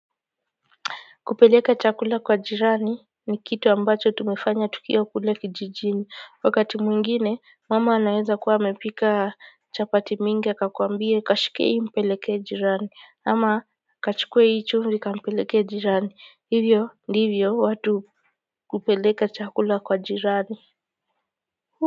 Kupeleka chakula kwa jirani ni kitu ambacho tumefanya tukiwa kule kijijini wakati mwingine mama anaweza kuwa amepika chapati mingi akakuambia kashike hii mpeleke jirani ama kachukue hii chumvi kampeleke jirani hivyo ndivyo watu kupeleka chakula kwa jirani.